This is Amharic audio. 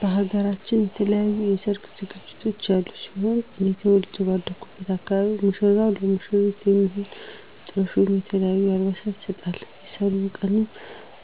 በሃገራችን የተለያዩ የሰርግ ዝግጅቶች ያሉ ሲሆን እኔ ተወልጀ ባደኩበት አካባቢ ሙሽራው ለሙሽሪት የሚሆን ጥሎሽ ወይም የተለያዩ አልባሳትን ይሰጣል። በሰርጉ ቀንም